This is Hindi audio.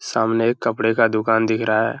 सामने एक कपड़े का दुकान दिख रहा है |